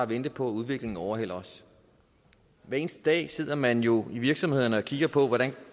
vente på at udviklingen overhaler os hver eneste dag sidder man jo i virksomhederne og kigger på hvordan